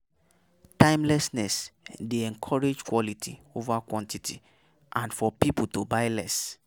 Timelessness dey encourage quality over quantity and for pipo to buy less